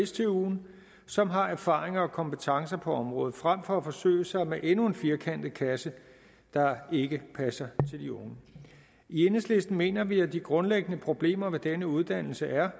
stuen som har erfaringer og kompetencer på området frem for at forsøge sig med endnu en firkantet kasse der ikke passer til de unge i enhedslisten mener vi at de grundlæggende problemer med denne uddannelse er